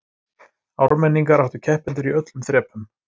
Ármenningar áttu keppendur í öllum þrepum